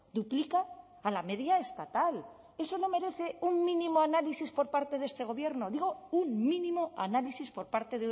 duplica a la media estatal eso no merece un mínimo análisis por parte de este gobierno digo un mínimo análisis por parte